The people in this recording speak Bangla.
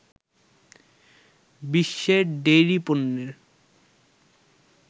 বিশ্বে ডেইরি পণ্যের